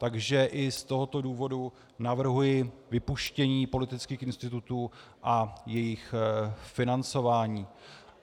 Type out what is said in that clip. Takže i z tohoto důvodu navrhuji vypuštění politických institutů a jejich financování.